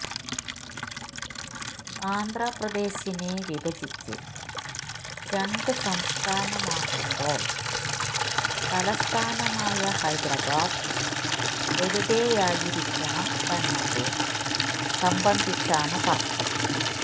ആന്ധ്രപ്രദേശിനെ വിഭജിച്ച് രണ്ട് സംസ്ഥാനമാക്കുമ്പോള് തലസ്ഥാനമായ ഹൈദരാബാദ് എവിടെയായിരിക്കണം എന്നത് സംബന്ധിച്ചാണ് തര്ക്കം